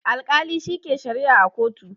Alkali shi ke sharia a kotu